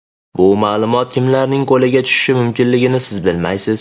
Bu ma’lumot kimlarning qo‘liga tushishi mumkinligini siz bilmaysiz.